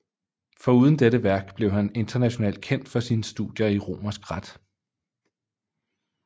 Foruden dette værk blev han internationalt kendt for sine studier i romersk ret